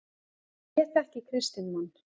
Ég þekki kristinn mann.